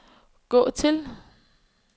gå til